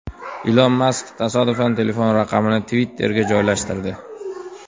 Ilon Mask tasodifan telefon raqamini Twitter’ga joylashtirdi.